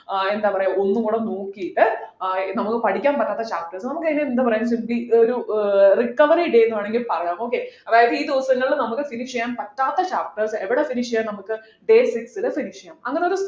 ആഹ് എന്താ പറയാ ഒന്നുംകൂടെ നോക്കിയിട്ട് ആഹ് നമുക്ക് പഠിക്കാൻ പറ്റാത്ത chapters നമുക്ക് അതിന് എന്ത് പറയാ will be ഒരു ഏർ recovery day എന്ന് വേണമെങ്കിൽ പറയാം okay അതായത് ഇ ദിവസങ്ങളിൽ നമുക്ക് finish ചെയ്യാൻ പറ്റാത്ത chapters എവിടെ finish ചെയ്യാൻ നമുക്ക് day six ല് finish ചെയ്യാം അങ്ങനൊരു